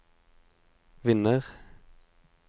vinner